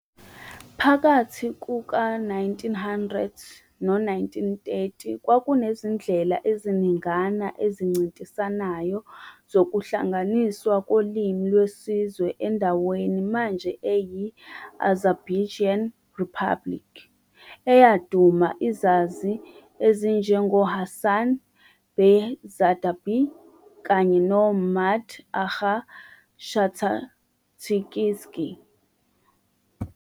Phakathi kuka c. Ngo-1900 nango-1930, kwakunezindlela eziningana ezincintisanayo zokuhlanganiswa kolimi lwesizwe endaweni manje eyi-Azerbaijan Republic, eyaduma izazi ezinjengoHasan bey Zardabi kanye noMmmad agha Shahtakhtinski.